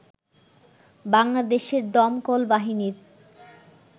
বাংলাদেশের দমকল বাহিনীর